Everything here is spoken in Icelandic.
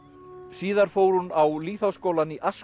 síðar fór hún á lýðháskólann í